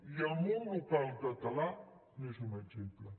i el món local català n’és un exemple